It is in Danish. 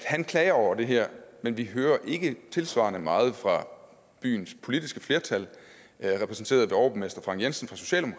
han klager over det her men vi hører ikke tilsvarende meget fra byens politiske flertal repræsenteret af overborgmester frank jensen